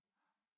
Ja